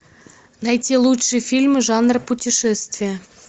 найти лучшие фильмы жанра путешествия